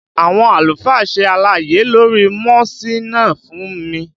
Àwọn àlùfáà ṣe àlàyé lórí mọ́síná fún mi